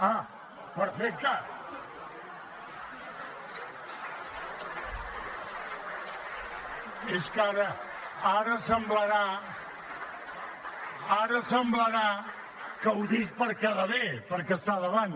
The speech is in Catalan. ah perfecte els aplaudiments) ara semblarà que ho dic per quedar bé perquè està al davant